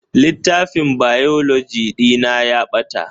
Littafin Biology ɗina ya ɓata